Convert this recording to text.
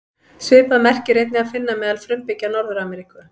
Svipað merki er einnig að finna meðal frumbyggja Norður-Ameríku.